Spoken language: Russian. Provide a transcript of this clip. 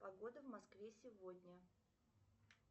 погода в москве сегодня